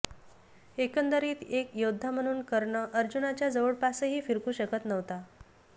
एकंदरीत एक योद्धा म्हणून कर्ण अर्जुनाच्या जवळपासही फिरकू शकत नव्हता